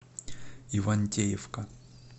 ивантеевка